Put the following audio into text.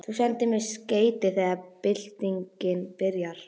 Þú sendir mér skeyti þegar byltingin byrjar.